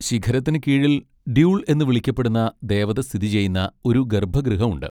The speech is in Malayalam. ശിഖരത്തിനു കീഴിൽ ഡ്യൂൾ എന്ന് വിളിക്കപ്പെടുന്ന ദേവത സ്ഥിതിചെയ്യുന്ന ഒരു ഗർഭഗൃഹം ഉണ്ട്.